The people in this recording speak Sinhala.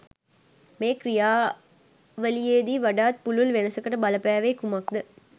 මේ ක්‍රියාවලියේදී වඩාත් පුළුල් වෙනසකට බලපෑවේ කුමක් ද